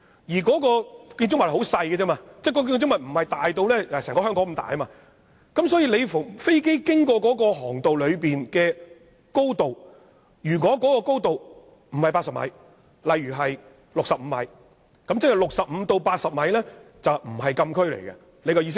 而該建物築面積很小，不是好像整個香港般大，所以飛機飛行的高度，如果不是80米，例如是65米，那即是65米至80米便不是禁區，意思就是這樣。